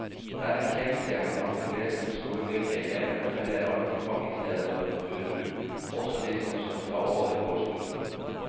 Det er en kjensgjerning at de fleste skoleflinke elevene velger allmennfag i stedet for naturbruk, også de som skal ta over gårdsbruk.